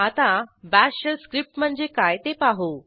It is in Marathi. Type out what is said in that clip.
आता बाश शेल स्क्रिप्ट म्हणजे काय ते पाहू